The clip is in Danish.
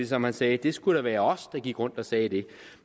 som han sagde det skulle da være os der gik rundt og sagde det